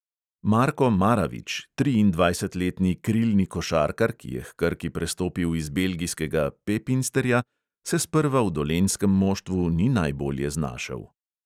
Marko maravič, triindvajsetletni krilni košarkar, ki je h krki prestopil iz belgijskega pepinsterja, se sprva v dolenjskem moštvu ni najbolje znašel.